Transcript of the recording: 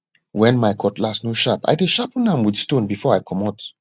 wen my cutlass no sharp i dey sharpen am wit stone before i comot